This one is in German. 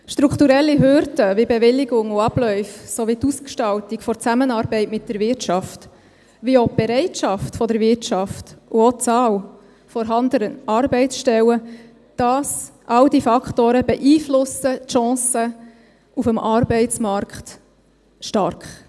Strukturelle Hürden, wie Bewilligungen und Abläufe, sowie die Ausgestaltung der Zusammenarbeit mit der Wirtschaft wie auch die Bereitschaft der Wirtschaft und die Zahl vorhandener Arbeitsstellen – alle diese Faktoren beeinflussen die Chancen auf dem Arbeitsmarkt stark.